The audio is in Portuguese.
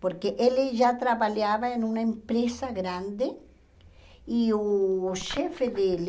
Porque ele já trabalhava em uma empresa grande e o chefe dele,